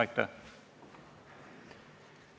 Aitäh!